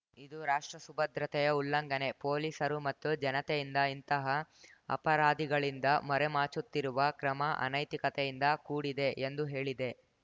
ಇದು ರಾಷ್ಟ್ರ ಸುಭದ್ರತೆಯ ಉಲ್ಲಂಘನೆ ಪೊಲೀಸರು ಮತ್ತು ಜನತೆಯಿಂದ ಇಂತಹ ಅಪರಾದಿಗಳಿಂದ ಮರೆಮಾಚುತ್ತಿರುವ ಕ್ರಮ ಅನೈತಿಕತೆಯಿಂದ ಕೂಡಿದೆ ಎಂದು ಹೇಳಿದೆ